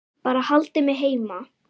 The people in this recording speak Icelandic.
Bara haldið mig heima!